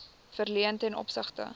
verleen ten opsigte